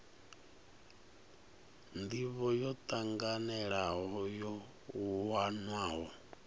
ndivho yo tanganelaho yo wanwaho